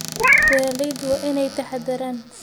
Beeraleydu waa inay taxaddaraan.